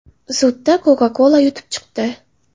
Sudda Coca-Cola yutib chiqdi.